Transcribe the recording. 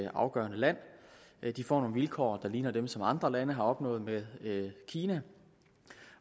afgørende land de får nogle vilkår der ligner dem som andre lande har opnået med kina